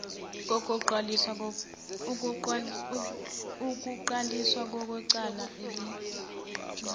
kokuqalisa kwecala elinjena